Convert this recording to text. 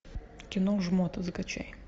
кино жмот закачай